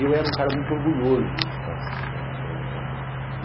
E eu era um cara muito orgulhoso.